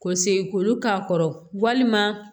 Ko segin k'olu k'a kɔrɔ walima